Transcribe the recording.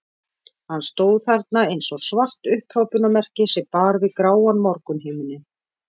Hann stóð þarna eins og svart upphrópunarmerki sem bar við gráan morgunhimininn.